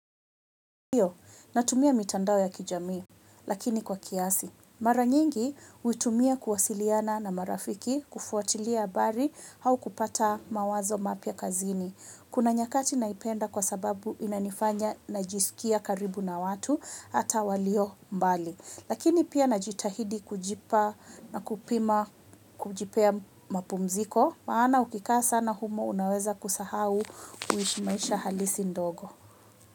Natumia mitandao ya kijamii, lakini kwa kiasi. Mara nyingi, huitumia kuwasiliana na marafiki, kufuatilia habari, au kupata mawazo mapya kazini. Kuna nyakati naipenda kwa sababu inanifanya najisikia karibu na watu, hata walio mbali. Lakini pia najitahidi kujipa na kupima kujipea mapumziko maana ukikaa sana humo unaweza kusahau kuishi maisha halisi ndogo.